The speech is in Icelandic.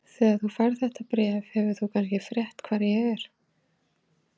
Þegar þú færð þetta bréf hefur þú kannski frétt hvar ég er.